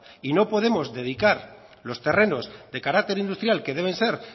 y no podemos dedicar los terrenos de carácter industrial que deben ser